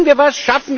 Tun wir was!